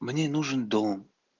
мне нужен дом